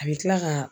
A bɛ kila ka